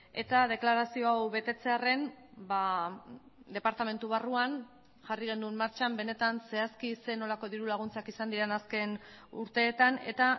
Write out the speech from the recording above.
eta deklarazio hau betetzearren departamentu barruan jarri genuen martxan benetan zehazki zer nolako dirulaguntzak izan diren azken urteetan eta